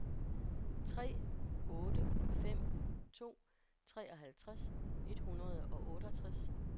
tre otte fem to treoghalvtreds et hundrede og otteogtres